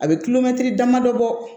A bɛ damadɔ bɔ